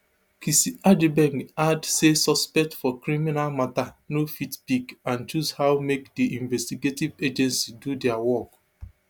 kissi agyebeng add say suspect for criminal mata no fit pick and choose how make di investigative agency do dia work